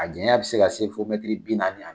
A janya bɛ se ka se fɔ kilomɛtiri bi naani